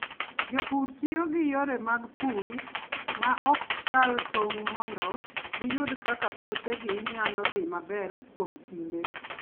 Jopur tiyo gi yore mag pur ma ok kal tong' mondo giyud kaka puothegi nyalo dhi maber kuom kinde.